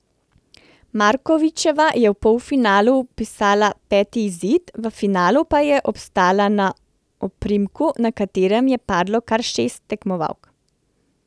Markovičeva je v polfinalu vpisala peti izid, v finalu pa je obstala na oprimku, na katerem je padlo kar šest tekmovalk.